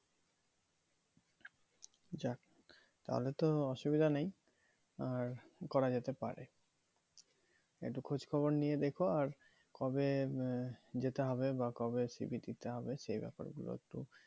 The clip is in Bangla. যাক তাহলে তো অসুবিধা নেই আর করা যেতে পারে একটু খোঁজ খবর নিয়ে দেখো আর কবে যেতে হবে বা কবে c. v. দিতে হবে সেই ব্যাপার গুলো একটু